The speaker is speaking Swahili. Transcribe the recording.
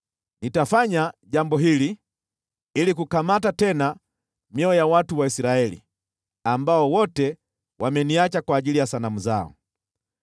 Nitafanya jambo hili ili kukamata tena mioyo ya watu wa Israeli, ambao wote wameniacha kwa ajili ya sanamu zao.’